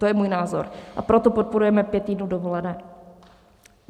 To je můj názor, a proto podporujeme pět týdnů dovolené.